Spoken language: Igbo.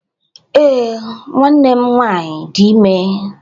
Ee, nwanne m nwanyị dị ime